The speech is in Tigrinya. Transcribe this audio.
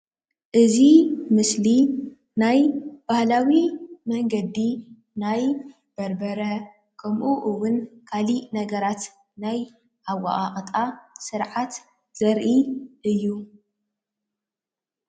እዙይ ምስሊ ናይ ባህላዊ መንገዲ ናይ በርበረ ከምኡ እውን ካሊእ ነገራት ናይ ኣወቃቅጣ ስርዓት ዘርኢ እዩ።